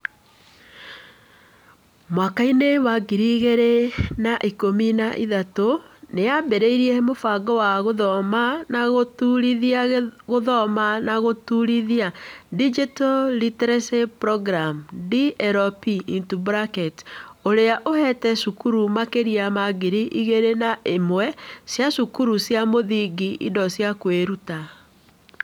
Mwakainĩ wa ngiri igĩrĩ na ikũmi na ithatũ, nĩ yaambĩrĩirie Mũbango wa Gũthoma na Gũtũũrithia Gũthoma na Gũtũũrithia (Digital Literacy Programme - DLP), ũrĩa ũheete cukuru makĩria ma ngiri igĩrĩ na ĩmwe cia thukuru cia mũthingi indo cia kwĩruta.